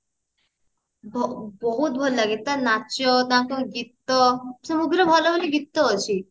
ବହୁତ ଭଲଲାଗେ ତା ନାଚ ତାଙ୍କ ଗୀତ ସବୁଥିରେ ଭଲ ଭଲ ଗୀତ ଅଛି